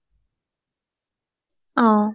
অ